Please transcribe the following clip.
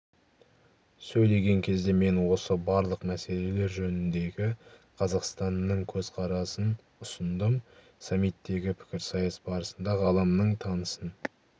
сөйлеген кезде мен осы барлық мәселелер жөніндегі қазақстанның көзқарасын ұсындым саммиттегі пікірсайыс барысында ғаламның тынысын